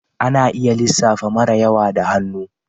Ana iya lissafi mara yawa da hannu